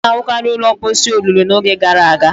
A na-ahụkarị ụlọ mposi olulu n'oge gara aga